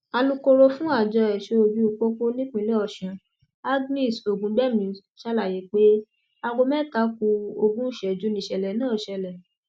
alūkkóró fún àjọ ẹṣọ ojú pópó nípínlẹ ọṣun agnès ògúngbẹmí ṣàlàyé pé aago mẹta ku ogún ìṣẹjú nìṣẹlẹ náà ṣẹlẹ